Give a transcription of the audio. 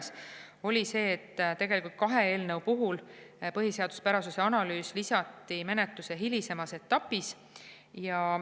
See oli see, et tegelikult kahe eelnõu puhul põhiseaduspärasuse analüüs lisati menetluse hilisemas etapis.